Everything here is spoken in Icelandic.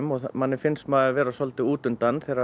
og manni finnst maður vera svolítið út undan þegar